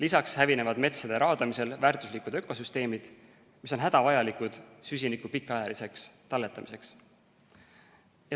Pealegi hävinevad metsade raadamisel väärtuslikud ökosüsteemid, mis on hädavajalikud süsiniku pikaajaliseks talletamiseks.